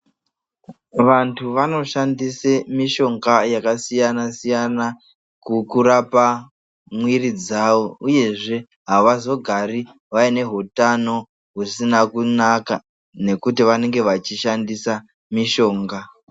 Vantu vanoshandisa mishonga yakasiyana siyana kurapa mwiri dzavo uyezve avazogari vaine hutano husina kunaka nekuti vanenge vachishandisa mishonga.